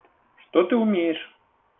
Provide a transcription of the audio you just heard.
что ты умеешь